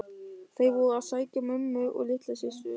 Þeir voru að sækja mömmu og litlu systur.